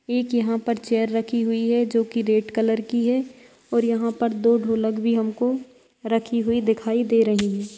एक यहाँ पर चेयर रखी हुई है जो कि रेड कलर की है और यहाँ पर दो ढोलक भी हमको रखी हुई दिखाई दे रही है।